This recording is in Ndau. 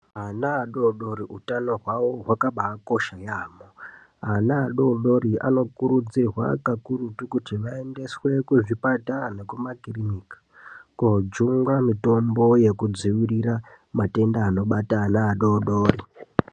Ana atotori hutano hwavo hwakabakosha yaamho. Ana adodori anokurudzirwa kakurutu kuti aendeswe kuchipatara nekumakiriniki koojungwa mitombo yekudzivirira matenda anobata ana adodori.